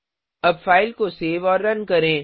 अब फाइल को सेव और रन करें